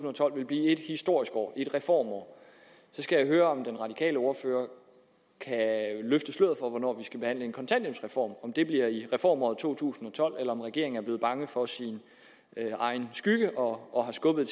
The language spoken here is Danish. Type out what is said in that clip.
og tolv ville blive et historisk reformår jeg skal høre om den radikale ordfører kan løfte sløret for hvornår vi skal behandle en kontanthjælpsreform om det bliver i reformåret to tusind og tolv eller om regeringen er blevet bange for sin egen skygge og har skubbet